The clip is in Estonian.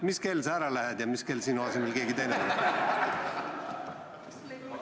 Mis kell sa ära lähed ja mis kell sinu asemele keegi teine tuleb?